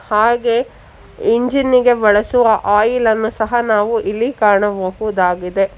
ಹಾಗೆ ಇಂಜಿನಿಗೆ ಬಳಸುವ ಆಯಿಲನ್ನು ಸಹ ನಾವು ಇಲ್ಲಿ ಕಾಣಬಹುದಾಗಿದೆ.